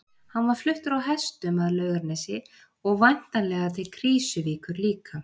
Hann var fluttur á hestum að Laugarnesi og væntanlega til Krýsuvíkur líka.